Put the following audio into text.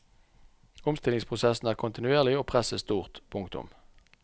Omstillingsprosessen er kontinuerlig og presset stort. punktum